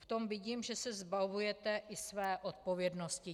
V tom vidím, že se zbavujete i své odpovědnosti.